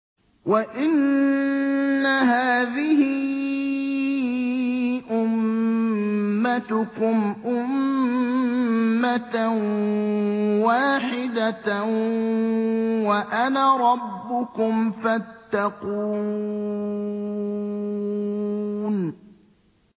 وَإِنَّ هَٰذِهِ أُمَّتُكُمْ أُمَّةً وَاحِدَةً وَأَنَا رَبُّكُمْ فَاتَّقُونِ